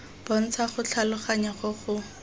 bontsha go tlhaloganya go go